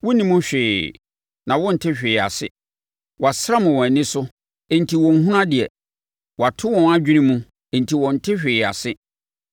Wonnim hwee, na wɔnte hwee ase; wɔasram wɔn ani so enti wɔnhunu adeɛ, wɔato wɔn adwene mu enti wɔnte hwee ase.